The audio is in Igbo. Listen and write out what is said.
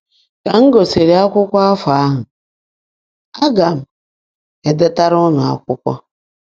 “Ka m gụsịrị Akwụkwọ afọ ahụ, aga m edetara ụnụ akwụkwọ.